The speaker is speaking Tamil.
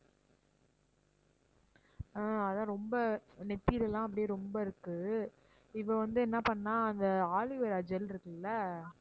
ஆஹ் அதான் ரொம்ப நெத்திலலாம் அப்படியே ரொம்ப இருக்கு. இவ வந்து என்ன பண்ணா அந்த aloe vera gel இருக்குல்ல